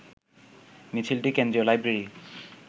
মিছিলটি কেন্দ্রীয় লাইব্রেরি